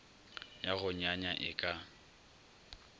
ya go nyanya e ka